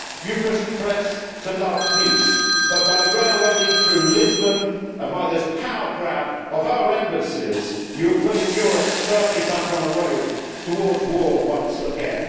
You profess to love peace but, by railroading through Lisbon and by this power grab of our embassies, you are putting Europe firmly back on the road towards war once again.